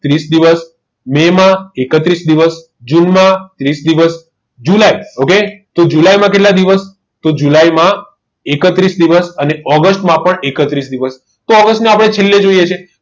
ત્રીસ દિવસ મેમા એકત્રીસ દિવસ જૂનમાં ત્રીસ દિવસ જુલાઈ okay જુલાઈમાં કેટલા દિવસ તો જુલાઈમાં એકત્રીસ દિવસ અને ઓગસ્ટમાં પણ એકત્રીસ દિવસ તો આ વર્ષને આપણે છેલ્લે જોઈએ